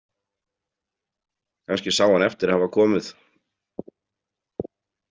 Kannski sá hann eftir að hafa komið.